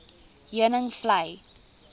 heuningvlei